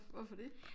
Hvorfor det?